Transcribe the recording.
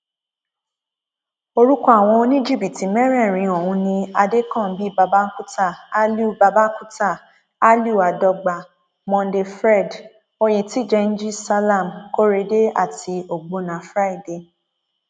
orúkọ àwọn oníjìbìtì mẹrẹẹrin ọhún ni adẹkànbí babakunta aliu babakunta aliu adọgba monday fred oyentijẹnji salam korede àti ọgbọnna friday